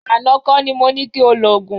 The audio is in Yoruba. Àná kọ́ ni mo ní ki o lòògùn.